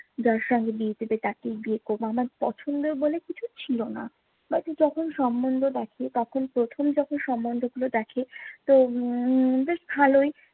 যার সঙ্গে বিয়ে দিবে তাকেই বিয়ে করবো। আমার পছন্দ বলে কিছু ছিলো না। বাকি যখন সমন্ধ দেখে তখন প্রথম যখন সমন্ধগুলো দেখে তো উম বেশ ভালোই